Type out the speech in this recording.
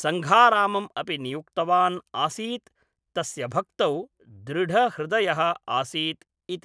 सङ्घारामम् अपि नियुक्तवान् आसीत्, तस्य भक्तौ दृढहृदयः आसीत् इति।